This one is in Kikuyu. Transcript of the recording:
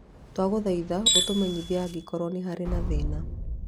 Twagũthaitha ũtũmenyithie angĩkorũo nĩ harĩ na thĩna.